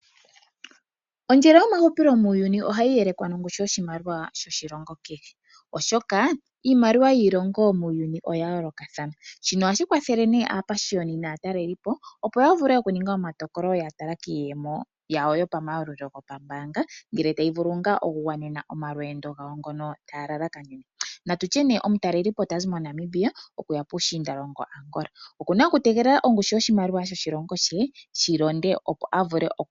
Ondjelo yamahupilo muuyuni ohayi yelekwa nongushu yoshimaliwa kehe oshoka iimaliwa yiilongo muuyuni oya yoolokathana. shino ohashi kwathele nee aapashiyoni naatalelipo opo yavule oku ninga omatokolo ya tala kiiyemo yawo yopa mayalulo gawo gombaanga ngele tayi vulu ngaa okugwanena omalweendo gawo ngono ta ya lala kanene .natutye nee omu talelipo tazi moNamibia okuya puushiindalongo Angola, okuna okutegelela ongushu yoshimaliwa yo shilongo she shi londe opo avule okuya.